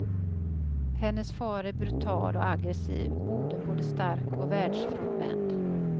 Hennes far är brutal och aggressiv, modern både stark och världsfrånvänd.